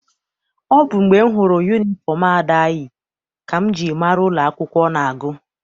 Ọ bụ mgbe m hụrụ yunifọm Ada ka m ji mara n'ụlọ akwụkwọ ọ na-agụ.